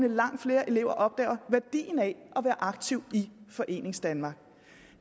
langt flere elever forhåbentlig opdager værdien af at være aktiv i foreningsdanmark